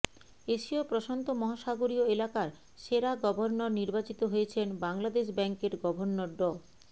এশীয় প্রশান্ত মহাসাগরীয় এলাকার সেরা গভর্নর নির্বাচিত হয়েছেন বাংলাদেশ ব্যাংকের গভর্নর ড